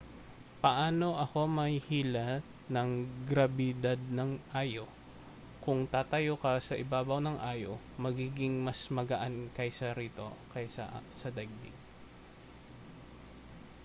paano ako mahihila ng grabidad ng io kung tatayo ka sa ibabaw ng io magiging mas magaan kaysa rito kaysa sa daigdig